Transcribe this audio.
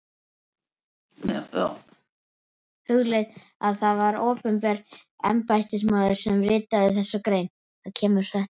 Hugleiðið að það var opinber embættismaður sem ritaði þessa grein.